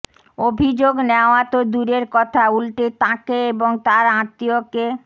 অভিযোগ নেওয়া তো দূরের কথা উল্টে তাঁকে এবং তাঁর আত্মীয়কে